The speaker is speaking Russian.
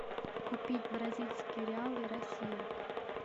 купить бразильские реалы россия